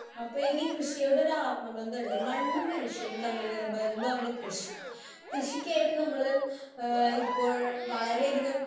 Speaker 1 അപ്പോ എനിക്ക് കൃഷിയോടൊരാത്മബന്ധമുണ്ട്. മണ്ണും മനുഷ്യനും തമ്മിലുള്ള ബന്ധമാണ് കൃഷി. കൃഷിക്കായിട്ട് നമ്മള് ഏഹ് ഇപ്പോൾ വളരെയധികം